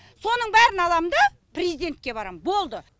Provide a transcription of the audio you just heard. соның бәрін алам да президентке барам болды